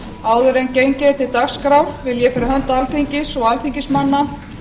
áður en gengis er til dagskrár vil ég fyrir hönd alþingis og alþingismanna